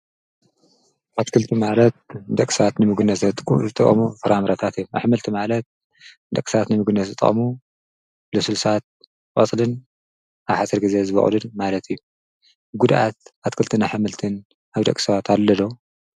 ኣትክልቲ ማለት ደቂ ሰባት ንምግብነት ዝጥቀምሉ ፍረ ምረታት ማለት እዩ፡፡ ኣሕምልቲ ማለት ንደቂ ሰባት ንምግቢ ዝጠቕሙ ልስሉሳት ቆፅልን ኣብ ሓፂር ግዜ ዝበቑሉ ማለት እዩ፡፡ ጉድኣት ኣሕምልትን ኣትክልትን ኣብ ደቂ ሰባት ኣሎ ዶ?